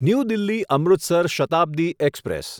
new Delhi Amritsar Shatabdi express